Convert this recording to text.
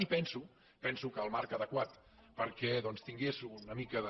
i penso penso que el marc adequat perquè doncs tingués una mica de